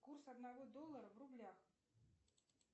курс одного доллара в рублях